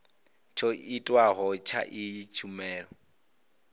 tsho tiwaho tsha iyi tshumelo